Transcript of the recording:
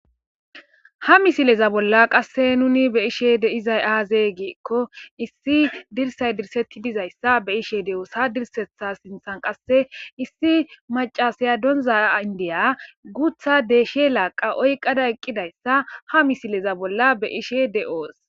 Ha misileza bolla qasse nuni beishe de izay aazey giikko issi dirsay dirsetti dizayssa be ishe de'oosa dirsetha sinthan qasse issi macasiya donza indiya guutha deeshe laaqa oyqada eqqidayssa ha misileza bolla be ishe de'oos